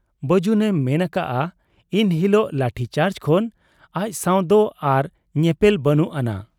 ᱵᱟᱹᱡᱩᱱ ᱮ ᱢᱮᱱ ᱟᱠᱟᱜ ᱟ ᱤᱱ ᱦᱤᱞᱚᱜᱟᱜ ᱞᱟᱴᱷᱤ ᱪᱟᱨᱡᱽ ᱠᱷᱚᱱ ᱟᱡᱥᱟᱶᱫᱚ ᱟᱨ ᱧᱮᱯᱮᱞ ᱵᱟᱹᱱᱩᱜ ᱟᱱᱟᱝ ᱾